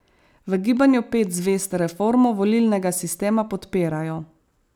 V Gibanju pet zvezd reformo volilnega sistema podpirajo.